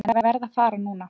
En ég verð að fara núna.